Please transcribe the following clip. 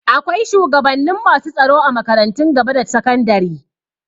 Akwai shugabannin masu tsaro a makarantun gaba da sakandari.